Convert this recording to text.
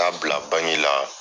K'a bila banki la.